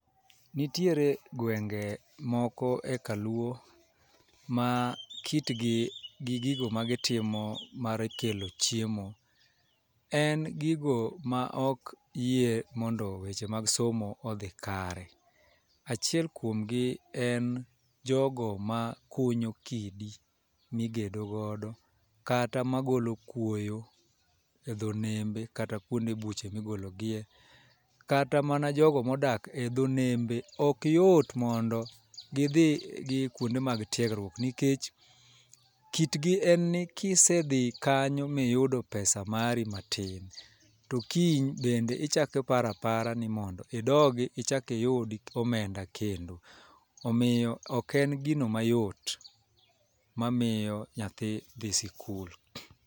Nitiere gwenge moko e kaluo ma kitgi gi gigo ma gitimo mar kelo chiemo en gigo ma ok yie mondo weche mag somo odhi kare. Achiel kuom gi en jogo ma kunyo kidi migedo godo kata ma golo kuoyo e dho nembe kata kuonde buche migolo gie , kata mana jogo modak e dho nembe ok yot kondo gidhi e kuonde mag tiegruok ,nikech kit gi en ni kisedhi kanyo miyudo pesa mari matin to kiny bende ichak iparapara ni mondo idogi iyud omenda kendo. Omiyo ok en gino mayot mamiyo nyathi dhi sikul.